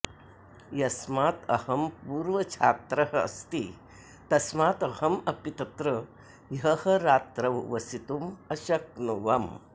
यस्मात् अहं पूर्वछात्रः अस्ति तस्मात् अहम् अपि तत्र ह्यः रात्रौ वसितुम् अशक्नुवम्